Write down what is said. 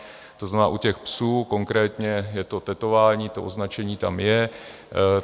To znamená, u těch psů konkrétně je to tetování, to označení tam je.